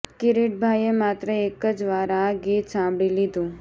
કિરીટભાઇએ માત્ર એક જ વાર આ ગીત સાંભળી લીધું